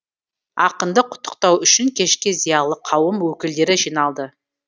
ақынды құттықтау үшін кешке зиялы қауым өкілдері жиналды